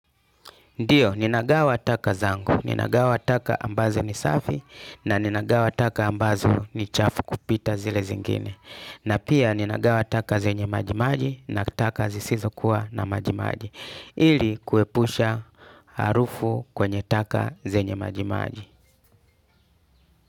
Ndiyo, ninagawa taka zangu, ninagawa taka ambazo ni safi na ninagawa taka ambazo ni chafu kupita zile zingine. Na pia ninagawa taka zenye majimaji na taka zisizo kuwa na majimaji. Ili kuepusha harufu kwenye taka zenye majimaji.